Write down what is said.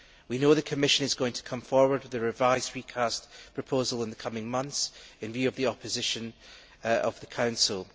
We know the Commission is going to come forward with a revised recast proposal in the coming months in view of the opposition of the Council.